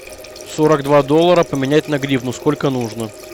сорок два доллара поменять на гривну сколько нужно